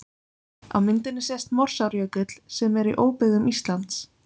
Á myndinni sést Morsárjökull sem er í óbyggðum Íslands.